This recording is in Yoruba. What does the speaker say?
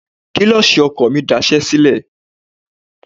Kílọ̀ṣì ọkọ̀ mi máa daṣẹ́ sílẹ̀.